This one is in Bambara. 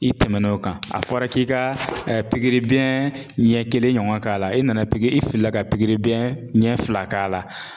I tɛmɛn'o kan a fɔra k'i ka pikiribiɲɛ ɲɛ kelen ɲɔgɔn k'a la e nana pikiri i fili la ka pikiribiɲɛ ɲɛ fila k'a la